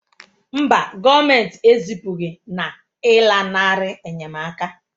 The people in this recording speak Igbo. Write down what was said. Mba, gọọmentị ezipụghị na ịlanarị enyemaka